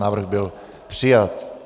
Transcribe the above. Návrh byl přijat.